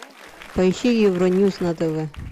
поищи евроньюс на тв